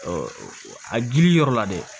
a gili yɔrɔ la dɛ